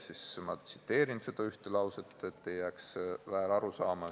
Ma tsiteerin seda ühte lauset, et ei jääks väärarusaama.